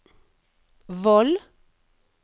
Voll